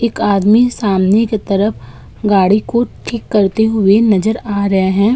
एक आदमी सामने की तरफ गाड़ी को ठीक करते हुए नजर आ रहा है।